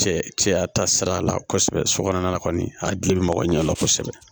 Cɛ cɛya ta sira la kosɛbɛ so kɔnɔna na kɔni a gili bɛ mɔgɔ ɲɛdɔn kosɛbɛ